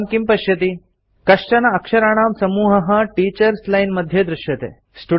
भवान् किं पश्यति कश्चन अक्षराणां समूहः टीचर्स् लाइन् मध्ये दृश्यते